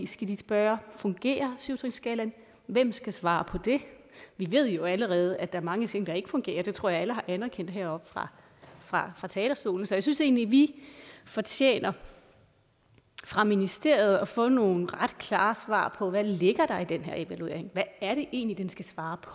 skal de spørge fungerer syv trinsskalaen hvem skal svare på det vi ved jo allerede at der er mange ting der ikke fungerer det tror jeg alle har anerkendt heroppe fra fra talerstolen så jeg synes egentlig vi fortjener fra ministeriet at få nogle ret klare svar på hvad ligger der i den her evaluering hvad er det egentlig den skal svare på